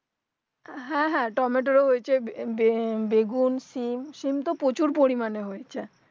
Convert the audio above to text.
হ্যাঁ হ্যাঁ টমেটোর ও হয়েছে বেগুন সিম সিম তো প্রচুর পরিমানে হয়েছে